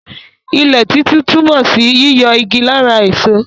Ilẹ̀ títú túmọ̀ sí yíyọ igi lára èso.